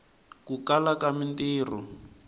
ku kala ka mintiho